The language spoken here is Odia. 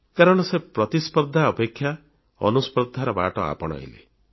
କାରଣ ସେ ପ୍ରତିସ୍ପର୍ଦ୍ଧା ଅପେକ୍ଷା ଅନୁସ୍ପର୍ଦ୍ଧାର ବାଟ ଆପଣେଇଲେ